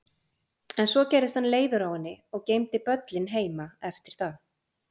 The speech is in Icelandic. En svo gerðist hann leiður á henni og geymdi böllinn heima eftir það.